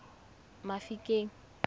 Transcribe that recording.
mafikeng